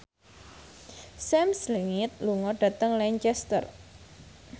Sam Smith lunga dhateng Lancaster